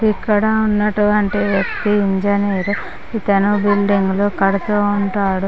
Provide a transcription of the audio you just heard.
ఇక్కడ ఉన్నటువంటి వ్యక్తి ఇంజనీర్. ఇతను బిల్డింగ్ లో కడుతూ ఉంటాడు .